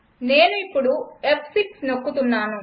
నేను ఇప్పుడు ఫ్6 నొక్కుతున్నాను